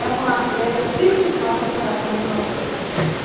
É uma artéria principal do coração do Nordeste.